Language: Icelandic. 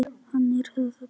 Hann er það bara.